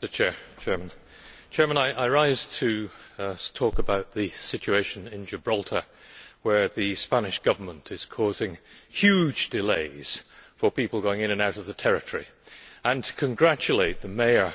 Mr President, I rise to speak about the situation in Gibraltar, where the Spanish Government is causing huge delays for people going in and out of the territory, and to congratulate the mayor of La Linea